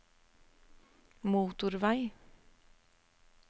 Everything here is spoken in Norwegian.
motorvei